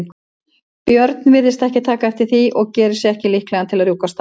björn virtist ekki taka eftir því og gerði sig líklegan til að rjúka af stað.